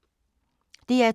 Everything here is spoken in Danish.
DR2